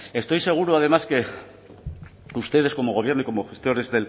estoy seguro además que ustedes como gobierno y como gestores